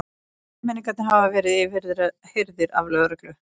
Þremenningarnir hafa verið yfirheyrðir af lögreglu